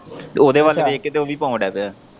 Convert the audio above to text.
ਉਦੇ ਵੱਲ ਵੇਖ ਕੇ ਤੇ ਉਹ ਵੀ ਪਾਣ ਡੈਹ ਪਿਆ।